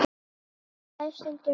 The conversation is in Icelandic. Ég slæ stundum um mig.